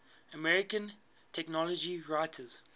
american technology writers